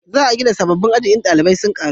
za a gina sabobbin aji in dalibai sun karu